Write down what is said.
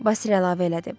Vasil əlavə elədi.